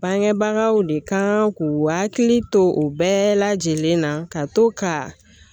Bangebagaw de kan k'u hakili to u bɛɛ lajɛlen na ka to ka